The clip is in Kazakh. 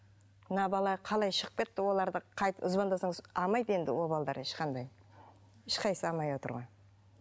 мына бала қалай шығып кетті олар да звондасаңыз алмайды енді ол балалар ешқандай ешқайсысы алмай отыр ғой